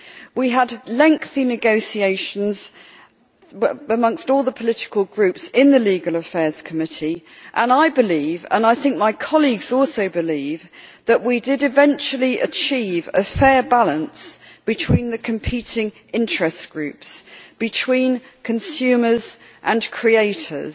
We had lengthy negotiations amongst all the political groups in the Committee on Legal Affairs, and I believe and I think my colleagues also believe that we did eventually achieve a fair balance between the competing interest groups between consumers and creators.